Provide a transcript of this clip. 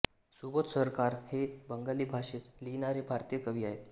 सुबोध सरकार हे बंगाली भाषेत लिहीणारे भारतीय कवी आहेत